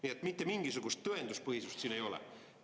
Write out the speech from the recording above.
Nii et mitte mingisugust tõenduspõhisust siin ei ole.